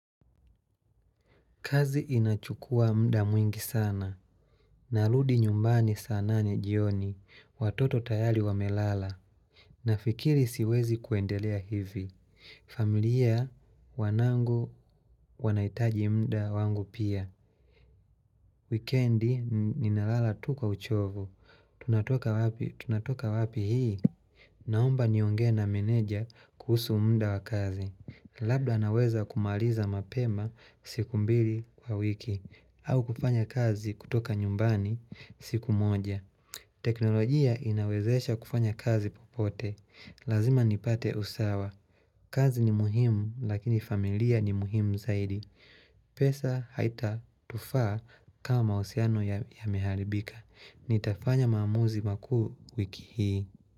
Kazi inachukua muda mwingi sana. Narudi nyumbani saa nane jioni. Watoto tayari wamelala. Nafikiri siwezi kuendelea hivi. Familia wanangu wanaitaji mda wangu pia. Weekendi ninalala tu kwa uchovu. Tunatoka wapi? Tunatoka wapi hii? Naomba niongee na meneja kuhusu muda wa kazi. Labda naweza kumaliza mapema siku mbili kwa wiki. Au kufanya kazi kutoka nyumbani siku moja teknolojia inawezesha kufanya kazi popote Lazima nipate usawa kazi ni muhimu lakini familia ni muhimu zaidi pesa haitatufaa kama mahusiano yameharibika Nitafanya maamuzi makuu wiki hii.